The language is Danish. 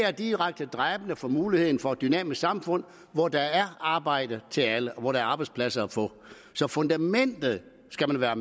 er direkte dræbende for muligheden for et dynamisk samfund hvor der er arbejde til alle og hvor der er arbejdspladser at få så fundamentet skal man være